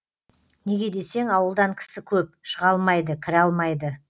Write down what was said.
неге десең ауылдан кісі көп шыға алмайды кіре алмайды